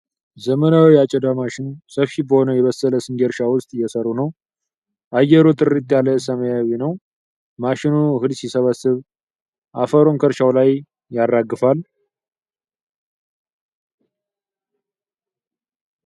ዘመናዊ የአጨዳ ማሽን፣ ሰፊ በሆነ የበሰለ ስንዴ እርሻ ውስጥ እየሰሩ ነው። አየሩ ጥርት ያለ ሰማያዊ ነው። ማሽኑ እህል ሲሰበስብ፣ አፈሩን ከእርሻው ላይ ያራግፋል።